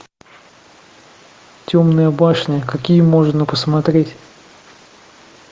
темная башня какие можно посмотреть